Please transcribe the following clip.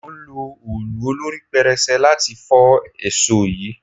Mò ń lo òòlù olorí pẹrẹsẹ láti fọ́ èsò yìí.